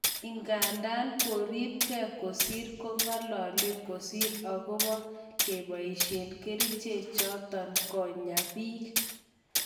Idadan koribke kosir ko'ngalalen kosir ogopa keboishen keriche choton konya bik.